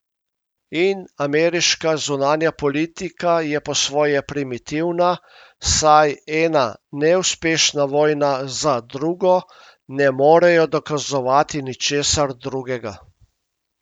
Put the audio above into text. In ameriška zunanja politika je po svoje primitivna, saj ena neuspešna vojna za drugo ne morejo dokazovati ničesar drugega.